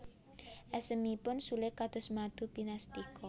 Esemipun Sule kados madu pinastika